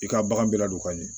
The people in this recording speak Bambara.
I ka bagan bɛ ladon ka ɲɛ